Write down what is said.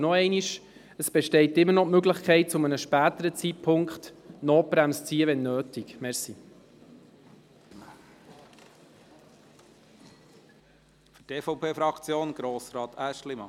Und noch einmal: Es besteht zu einem späteren Zeitpunkt immer noch die Möglichkeit, die Notbremse zu ziehen, falls es nötig sein sollte.